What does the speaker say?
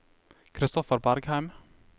Christoffer Bergheim